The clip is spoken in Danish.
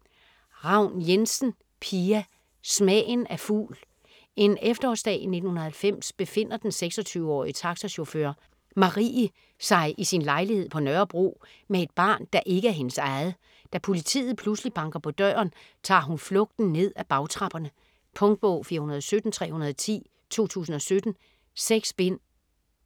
Ravn Jensen, Pia: Smagen af fugl En efterårsdag i 1990 befinder den 26-årige taxachauffør, Marie, sig i sin lejlighed på Nørrebro med et barn, der ikke er hendes eget. Da politiet pludselig banker på døren, tager hun flugten ned ad bagtrapperne ... Punktbog 417310 2017. 6 bind.